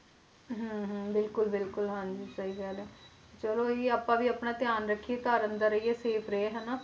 ਹਮ ਹਮ ਬਿਲਕੁਲ ਬਿਲਕੁਲ ਹਾਂਜੀ ਸਹੀ ਕਹਿ ਰਹੇ ਹੋ, ਚਲੋ ਇਹੀ ਆਪਾਂ ਵੀ ਆਪਣਾ ਧਿਆਨ ਰੱਖੀਏ ਘਰ ਅੰਦਰ ਰਹੀਏ safe ਰਹੀਏ ਹਨਾ,